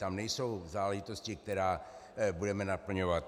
Tam nejsou záležitosti, které budeme naplňovat.